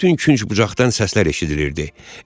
Bütün künc bucaqdan səslər eşidilirdi.